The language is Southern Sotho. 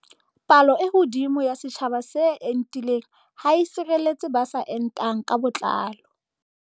Palo e hodimo ya setjhaba se entileng ha e tshireletse ba sa entang ka botlalo.